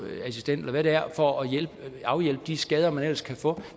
assistent eller hvad det er for at afhjælpe de skader man ellers kan få